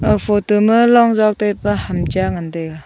aa photo ma long jaw taipa ham cha ngan taiga.